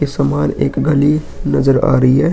एक गली नजर आ रही है।